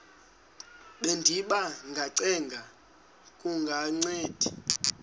bendiba ngacenga kungancedi